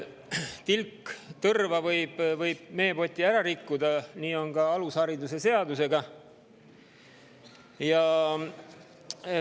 Tilk tõrva võib meepoti ära rikkuda ja nii on ka alusharidusseadusega.